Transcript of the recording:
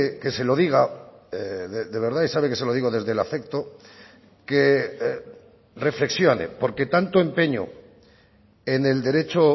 que se lo diga de verdad y sabe que se lo digo desde el afecto que reflexione porque tanto empeño en el derecho